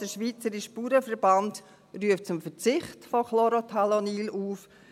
Der Schweizerische Bauernverband (SBV) ruft zum Verzicht von Chlorothalonil auf.